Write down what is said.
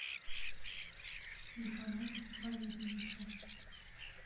николае валерьевиче